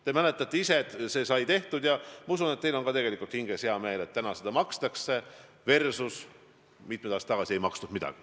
Te mäletate ise ka, et see otsus sai tehtud, ja ma usun, et teil on tegelikult hinges hea meel, et nüüd seda toetust makstakse, kuigi mitmed aastad tagasi ei makstud midagi.